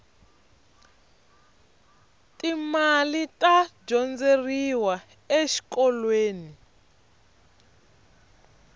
ti mali ta dyondzeriwa exikolweni